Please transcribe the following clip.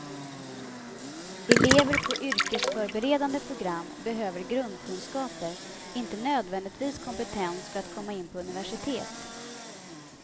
Elever på yrkesförberedande program behöver grundkunskaper, inte nödvändigtvis kompetens för att komma in på universitet.